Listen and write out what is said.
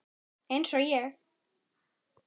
Eins og ég.